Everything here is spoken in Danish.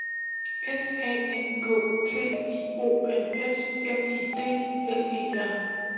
S A N K T I O N S M I D L E R